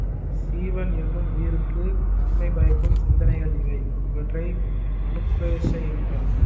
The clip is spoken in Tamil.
சீவன் என்னும் உயிருக்கு நன்மை பயக்கும் சிந்தனைகள் இவை இவற்றை அனுப்ரேக்ஷை என்பர்